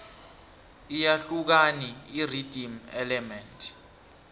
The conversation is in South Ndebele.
iyahlukani irhythm element